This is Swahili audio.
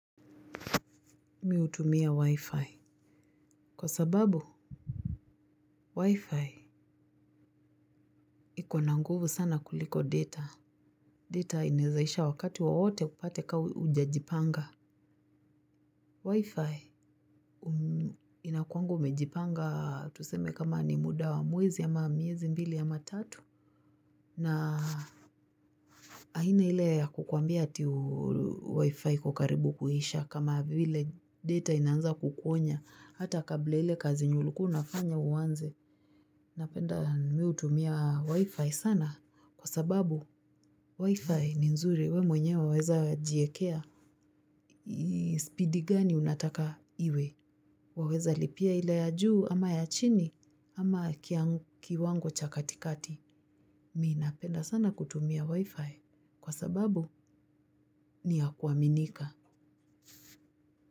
Mi hutumia wi-fi. Kwa sababu, wi-fi iko na nguvu sana kuliko data. Data inaezaisha wakati wowote upate kaa ujajipanga. Wi-fi inakuanga umejipanga tuseme kama ni muda wa mwezi ama miezi mbili ama tatu. Na aina ile ya kukwambia ati wi-fi iko karibu kuisha kama vile data inaanza kukuonya. Hata kabla ya ile kazi yenye ulikuwa unafanya uanze, napenda mi hutumia wi-fi sana kwa sababu wi-fi ni nzuri we mwenye waweza jiekea. Speedi gani unataka iwe? Waweza lipia ile ya juu ama ya chini ama kiwango cha katikati. Mi napenda sana kutumia wi-fi kwa sababu ni ya kuaminika.